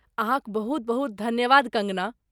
अहाँक बहुत बहुत धन्यवाद कंगणा!